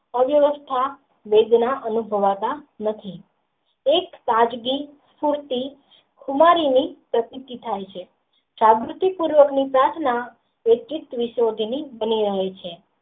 અવ્યવસ્થા વેગના અને લખી એક તાજગી ખુટતી ખુમારીયોં ઓ એ પ્રકૃતિ થાય છે જાગૃતિ પૂર્વક ની પ્રાર્થના એટલીજ રહે છે.